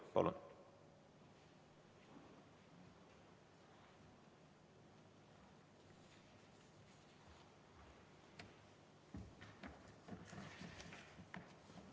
Palun!